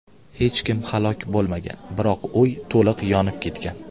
Hech kim halok bo‘lmagan, biroq uy to‘liq yonib ketgan.